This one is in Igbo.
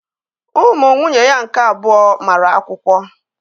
Ụmụ nwunye ya nke abụọ mara akwụkwọ